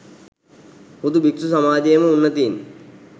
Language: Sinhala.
හුදු භික්‍ෂු සමාජයේම උන්නතීන්